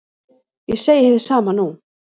Ég segi hið sama nú.